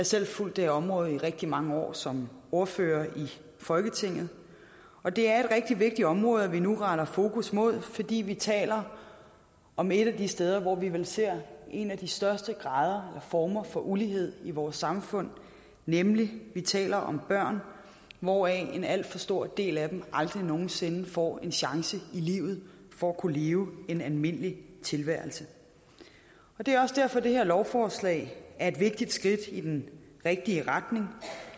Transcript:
selv fulgt området i rigtig mange år som ordfører i folketinget og det er et rigtig vigtigt område vi nu retter fokus imod fordi vi taler om et af de steder hvor vi vel ser en af de største former for ulighed i vores samfund nemlig når vi taler om børn hvoraf en alt for stor del af dem aldrig nogen sinde får en chance i livet for at kunne leve en almindelig tilværelse det er også derfor det her lovforslag er et vigtigt skridt i den rigtige retning